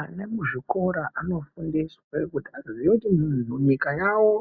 Ana kuchikora anofundiswe kuti azoziva kuti zvinhu munyika yavo